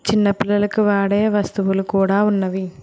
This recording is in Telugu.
చిన్న పిల్లలకు వాడే వస్తువులు కూడా ఉన్నవి.